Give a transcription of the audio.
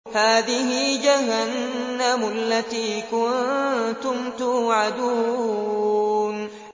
هَٰذِهِ جَهَنَّمُ الَّتِي كُنتُمْ تُوعَدُونَ